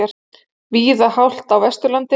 Víða hált á Vesturlandi